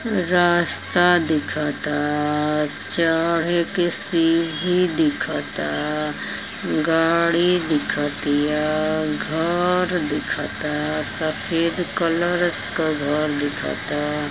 रास्ता दिखता। चढ़े के सीढ़ी दिखता। गाड़ी दिखतिया। घर दिखता। सफेद कलर क घर दिखता।